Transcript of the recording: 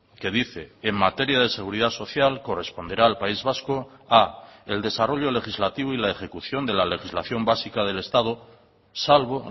que dice en materia de seguridad social corresponderá al país vasco a el desarrollo legislativo y la ejecución de la legislación básica del estado salvo